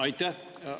Aitäh!